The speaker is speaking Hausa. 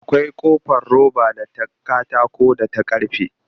Akwai ƙofar roba da ta katako da ta karfe